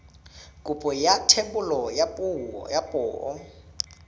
kopo ya thebolo ya poo